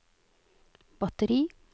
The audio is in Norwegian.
batteri